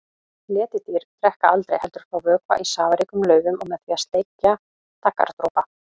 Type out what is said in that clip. Letidýr drekka aldrei heldur fá vökva í safaríkum laufum og með því að sleikja daggardropa.